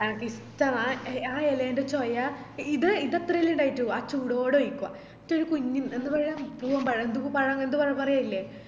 എനക്കിഷ്ട്ടമാ ആ എലെ ൻറെ ചോയ ഇ ഇത് അത്രേല്ലേ ഇണ്ടായിറ്റുള്ളു അ ചൂടോടെ കയിക്കുഅ ന്നിറ്റ് ഒര് കുഞ്ഞി എന്ത് പഴ പൂവൻ പഴം ന്തോ പഴം പറയലില്ലേ